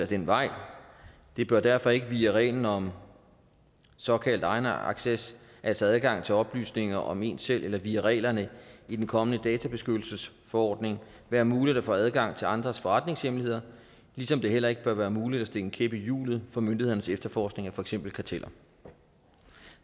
den vej det bør derfor ikke via reglen om såkaldt egenacces altså adgang til oplysninger om en selv eller via reglerne i den kommende databeskyttelsesforordning være muligt at få adgang til andres forretningshemmeligheder ligesom det heller ikke bør være muligt at stikke en kæp i hjulet for myndighedernes efterforskning af for eksempel karteller